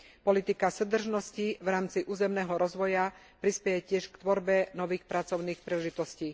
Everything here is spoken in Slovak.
Politika súdržnosti v rámci územného rozvoja prispeje tiež k tvorbe nových pracovných príležitostí.